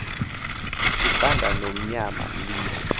uqanda nomnyama liye